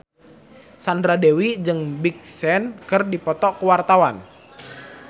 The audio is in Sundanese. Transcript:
Sandra Dewi jeung Big Sean keur dipoto ku wartawan